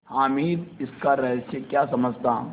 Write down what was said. हामिद इसका रहस्य क्या समझता